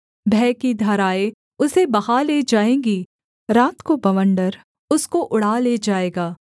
भय की धाराएँ उसे बहा ले जाएँगी रात को बवण्डर उसको उड़ा ले जाएगा